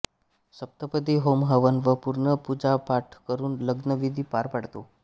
सप्तपदी होम हवन व पूर्ण पूजापाठ करून लग्नविधी पार पडतो